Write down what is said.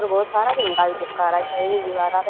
और ब्होत सारा झंडा भी चिपका राख्या हं इंन दीवारां प।